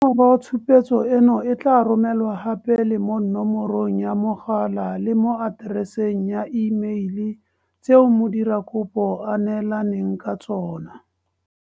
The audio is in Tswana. Nomoro tshupetso eno e tla romelwa gape le mo nomorong ya mogala le mo atereseng ya imeile tseo modirakopo a neelaneng ka tsona.